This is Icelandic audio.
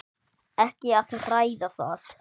Ekki að ræða það!